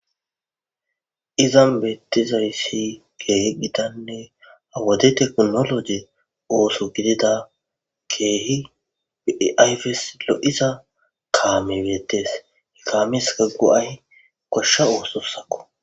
izan beettizayssi keehi gitanne wode tekinoloje ooso gidida keehi po7i ayfes lo7iza kaame veetees ha kaamezza go7ay goshsha oososakko